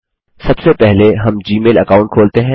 सबसे पहले हम जी मेल अकाउंट खोलते हैं